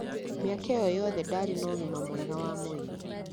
Mĩaka ĩyo yothe ndaarĩ na ũgima mwega wa mwĩrĩ.